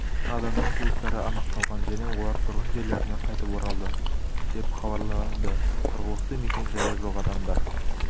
адамның туыстары анықталған және олар тұрғын жерлеріне қайтып оралды деп хабарладытұрғылықты мекен жайы жоқ адамдар